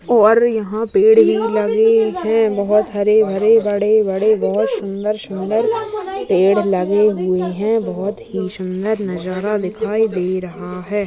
और यहाँ पेड़ ही लगे हैं। बहुत हरे-भरे बड़े-बड़े बहुत सुदर-सुदर पेड़ लगे हुए हैं। बहुत हीं सुंदर नजारा दिखाई दे रहा है।